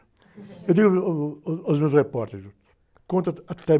Eu digo, uh, uh, aos meus repórteres, conta ah, até